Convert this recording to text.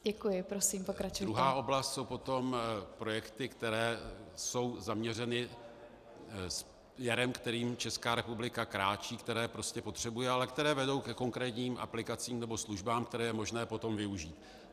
Druhá oblast jsou potom projekty, které jsou zaměřeny směrem, kterým Česká republiky kráčí, které prostě potřebuje, ale které vedou ke konkrétním aplikacím nebo službám, které je možné potom využít.